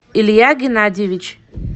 илья геннадьевич